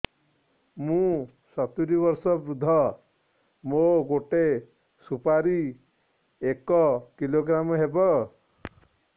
ମୁଁ ସତୂରୀ ବର୍ଷ ବୃଦ୍ଧ ମୋ ଗୋଟେ ସୁପାରି ଏକ କିଲୋଗ୍ରାମ ହେବ